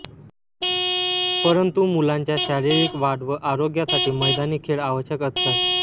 परंतु मुलांच्या शारीरिक वाढ व आरोग्यासाठी मैदानी खेळ आवश्यक असतात